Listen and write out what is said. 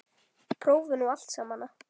Prófin og allt samana.